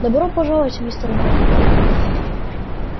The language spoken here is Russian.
добро пожаловать мистер малфой